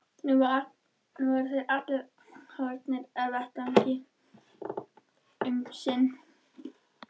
Nú voru þeir allir horfnir af vettvangi um sinn.